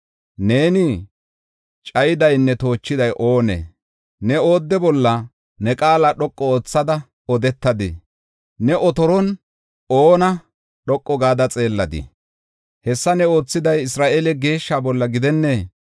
Neeni cayidaynne toochiday oonee? Ne oodde bolla ne qaala dhoqu oothada odetadii? Ne otoron oona dhoqu gada xeelladii? Hessa ne oothiday Isra7eele Geeshshaa bollana gidennee?